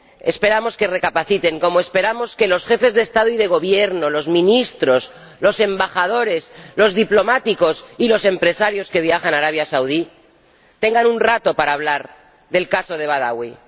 Esperamos que recapaciten, como esperamos que los jefes de Estado y de Gobierno, los ministros, los embajadores, los diplomáticos y los empresarios que viajan a Arabia Saudí tengan un rato para hablar del caso de Badawi.